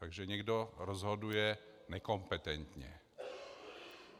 Takže někdo rozhoduje nekompetentně.